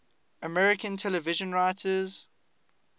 american television writers